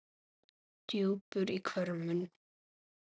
bjúgur á hvörmum